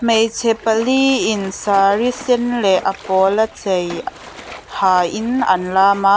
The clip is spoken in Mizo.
hmeichhe pali in saree sen leh a pawla chei hain an lam a.